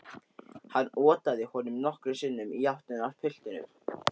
Hann otaði honum nokkrum sinnum í áttina að piltinum.